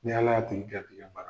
Ni Ala y'a tigi kɛ bi yafara